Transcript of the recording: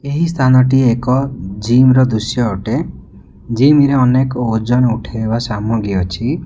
ଏହି ସ୍ଥାନଟି ଏକ ଜିମ୍ ର ଦୃଶ୍ୟ ଅଟେ ଜିମ୍ ରେ ଅନେକ ଓଜନ ଉଠେଇବା ସାମଗ୍ରୀ ଅଛି।